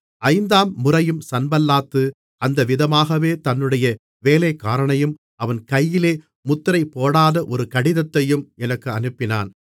ஐந்தாம் முறையும் சன்பல்லாத்து அந்த விதமாகவே தன்னுடைய வேலைக்காரனையும் அவன் கையிலே முத்திரைபோடாத ஒரு கடிதத்தையும் எனக்கு அனுப்பினான்